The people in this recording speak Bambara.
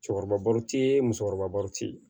Cɛkɔrɔbaw ti ye musokɔrɔba ti